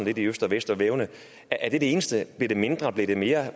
i øst og vest svævende er det det eneste bliver det mindre bliver det mere